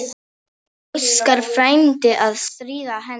Óskar frændi að stríða henni.